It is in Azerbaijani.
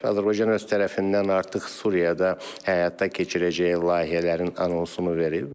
Azərbaycan öz tərəfindən artıq Suriyada həyata keçirəcəyi layihələrin anonsunu verib.